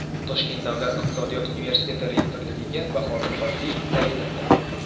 Toshkent Davlat iqtisodiyot universiteti rektorligiga Bahodir Hodiyev tayinlandi.